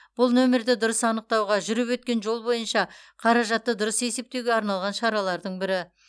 бұл нөмірді дұрыс анықтауға жүріп өткен жол бойынша қаражатты дұрыс есептеуге арналған шаралардың бірі